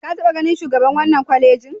Ka taɓa ganin shugaban wannan kwalejin?